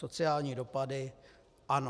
Sociální dopady: Ano.